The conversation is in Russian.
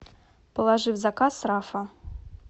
положи в заказ рафа